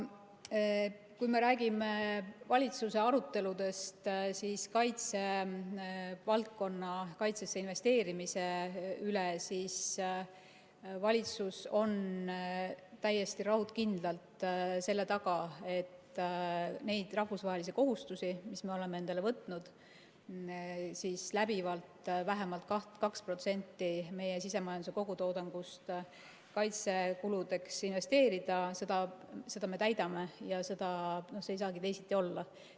Kui me räägime valitsuse aruteludest kaitsevaldkonda, kaitsesse investeerimise üle, siis valitsus on täiesti raudkindlalt selle taga, et neid rahvusvahelisi kohustusi, mis me oleme endale võtnud, et läbivalt vähemalt 2% meie sisemajanduse kogutoodangust kaitsekuludeks investeerida, me täidame ja see ei saagi teisiti olla.